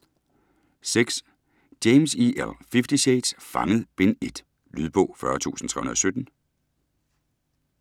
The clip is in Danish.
James, E. L.: Fifty shades: Fanget: Bind 1 Lydbog 40317